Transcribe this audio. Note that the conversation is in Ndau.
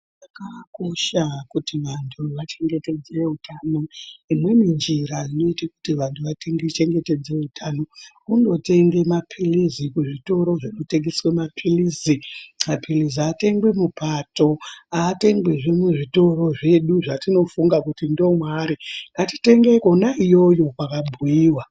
Zvakakosha kuti vantu vachengetedze utano imweni njira inoite kuti vantu vachengetedze utano kundotenge mapiritsi kuzvitoro zvinotengese mapiritsi, mapiritsi aatengwi mupato, aatengwizve muzvitoro zvedu zvatinofunga kuti ndomwaari. Ngatitenge kona iyoyo kwakabhuyiwa.